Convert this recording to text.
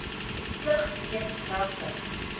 vlug weens rasse